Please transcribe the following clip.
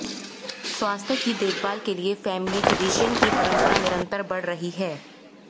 स्वास्थ्य की देखभाल के लिये फैमिली फिजिशियन की परम्परा निरन्तर बढ़ रही है